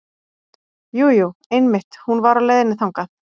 Jú, jú einmitt hún var á leiðinni þangað.